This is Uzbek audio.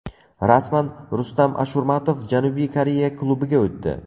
Rasman: Rustam Ashurmatov Janubiy Koreya klubiga o‘tdi.